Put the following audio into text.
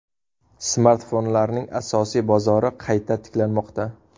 Smartfonlarning asosiy bozori qayta tiklanmoqda.